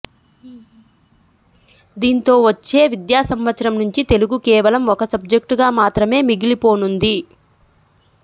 దీంతో వచ్చే విద్యాసంవత్సరం నుంచి తెలుగు కేవలం ఒక సబ్జెక్టుగా మాత్రమే మిగిలిపోనుంది